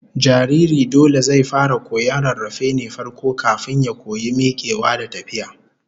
Jariri dole zai fara koyon rarrafe ne farko, kafin ya koyi mikewa da tafiya